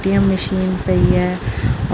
ATM machine ਪਈ ਹੈ।